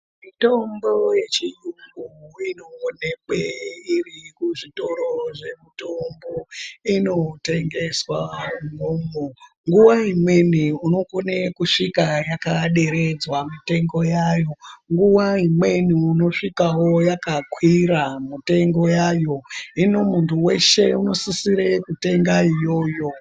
Mitombo yechiyungu inoonekwe iri kuzvitoro zvemutombo inotengeswa imwomwo. Nguva imweni unokona kusvika yakaderedzwa mitengo yayo. Nguva imweni unosvikavo yakakwira mutengo vayo. Hino muntu veshe unosisire kutenga iyoyo.